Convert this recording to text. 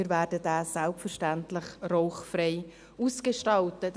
Wir werden diesen selbstverständlich rauchfrei ausgestalten.